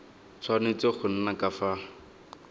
tshwanetse go nna ka fa